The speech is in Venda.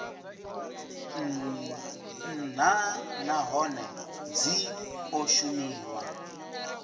nha nahone dzi o shumiwa